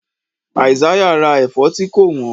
Isaiah rà èfó tí kò wón.